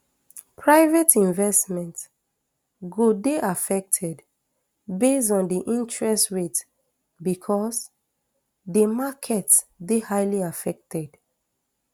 private investment go dey affected base on di interest rate becos di market dey highly affected